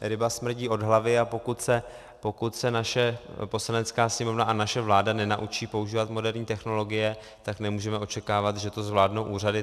ryba smrdí od hlavy, a pokud se naše Poslanecká sněmovna a naše vláda nenaučí používat moderní technologie, tak nemůžeme očekávat, že to zvládnou úřady.